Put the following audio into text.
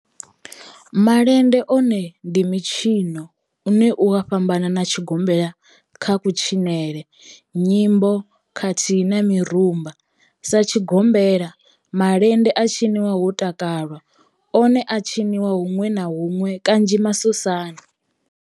Malende one ndi mitshino une u a fhambana na tshigombela kha kutshinele, nyimbo khathihi na mirumba. Sa tshigombela, malende a tshinwa ho takalwa, one a a tshiniwa hunwe na hunwe kanzhi masosani.